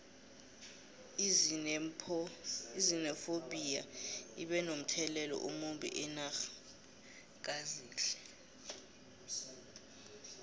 izinephobtiya ibe nomthelelo omumbi enxha kazinile